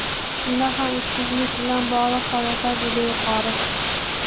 Shundoq ham ishsizlik bilan bog‘liq holatlar juda yuqori.